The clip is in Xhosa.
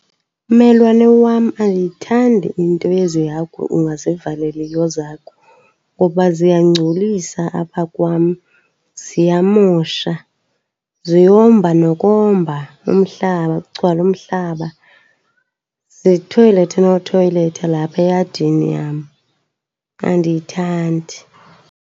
Mmelwane wam, andiyithandi into yezi hagu ungazivaleliyo zakho ngokuba ziyangcolisa apha kwam. Ziyamosha, ziyomba nokomba umhlaba kugcwale umhlaba, zithoyilethe nothoyiletha lapha eyadini yam, andiyithandi.